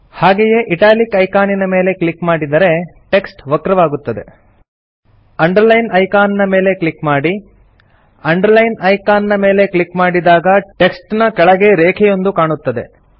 ಹಾಗೆಯೇ italic icon ನ ಮೇಲೆ ಕ್ಲಿಕ್ ಮಾಡಿದರೆ ಟೆಕ್ಸ್ಟ್ ವಕ್ರವಾಗುತ್ತದೆ ಅಂಡರ್ಲೈನ್ ಐಕಾನ್ ಮೇಲೆ ಕ್ಲಿಕ್ ಮಾಡಿ ಅಂಡರ್ಲೈನ್ ಐಕಾನ್ ಮೇಲೆ ಕ್ಲಿಕ್ ಮಾಡಿದಾಗ ಟೆಕ್ಸ್ಟ್ ನ ಕೆಳಗೆ ರೇಖೆಯೊಂದು ಕಾಣುತ್ತದೆ